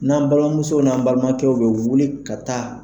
N'an balimamuso n'an balimakɛw bɛ wuli ka taa